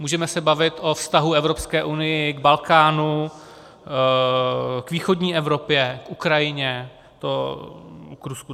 Můžeme se bavit o vztahu Evropské unie k Balkánu, k východní Evropě, k Ukrajině, k Rusku.